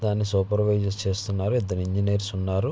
దాన్ని సూపెర్వైసర్ చేస్తున్నారు ఇద్దరు ఇంజనీర్స్ ఉన్నారు.